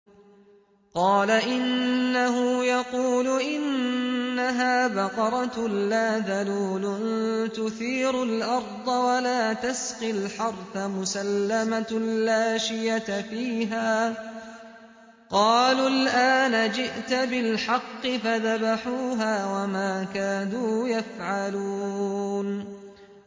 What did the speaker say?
قَالَ إِنَّهُ يَقُولُ إِنَّهَا بَقَرَةٌ لَّا ذَلُولٌ تُثِيرُ الْأَرْضَ وَلَا تَسْقِي الْحَرْثَ مُسَلَّمَةٌ لَّا شِيَةَ فِيهَا ۚ قَالُوا الْآنَ جِئْتَ بِالْحَقِّ ۚ فَذَبَحُوهَا وَمَا كَادُوا يَفْعَلُونَ